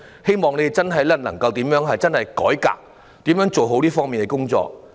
希望當局真的能夠進行改革，做好這方面的工作。